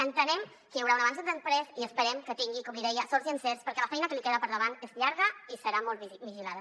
entenem que hi haurà un abans i un després i esperem que tingui com li deia sort i encerts perquè la feina que li queda per davant és llarga i serà molt vigilada